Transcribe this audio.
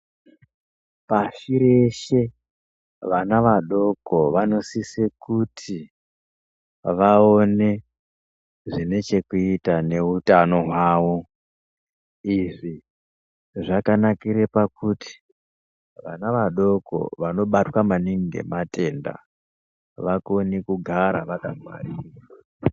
Pashi reshe vana vadoko vanosise kuti vaone zvine chekuita nehutano hwavo, izvi zvakanakire pakuti vana vadoko vanobatwa maningi ngematenda vakone kugara vakangwarira.